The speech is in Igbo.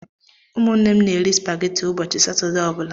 Ụmụnne m na-eri spageti ụbọchị Satọdee ọ bụla.